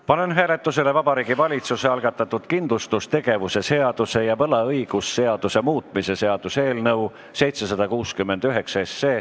Panen hääletusele Vabariigi Valitsuse algatatud kindlustustegevuse seaduse ja võlaõigusseaduse muutmise seaduse eelnõu .